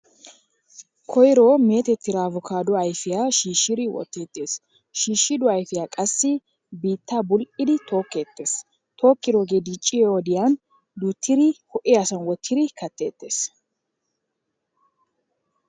Koyro meetettida avokaaduww ayfiya shiishidi wotteettees. shiishido ayfiya qassi biittaa bul'idi tokkeettees. tokkidoogee dicciyo woddiyan duuttidi ho'iyasan wottidi katteettes.